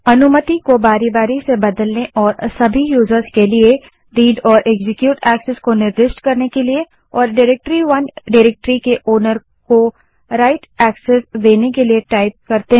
अनुमति को बारी बारी से बदलने और सभी यूजर्स के लिए read and एक्जीक्यूट एक्सेस को निर्दिष्ट करने के लिए और डाइरेक्टरी 1 डाइरेक्टरी के ओनर को write एक्सेस देने के लिए कमांड टाइप करें